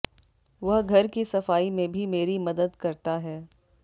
वह घर की सफाई में भी मेरी मदद करता है